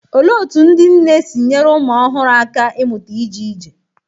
Olee otú ndị nne si nyere ụmụ ọhụrụ aka ịmụta ije ije?